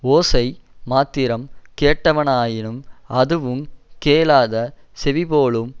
ஓசை மாத்திரம் கேட்டனவாயினும் அதுவுங் கேளாத செவி போலும்